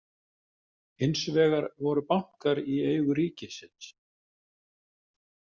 Hins vegar voru bankar í eigu ríkisins.